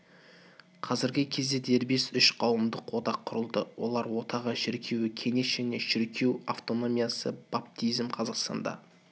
қазіргі кезде дербес үш қауымдық одақ құрылды олар одағы шіркеуі кеңес және шіркеу автономиясы баптизм қазақстанда